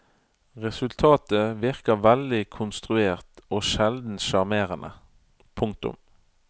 Resultatet virker veldig konstruert og sjelden sjarmerende. punktum